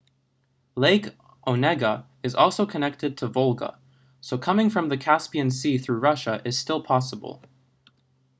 lake onega is also connected to volga so coming from the caspian sea through russia is still possible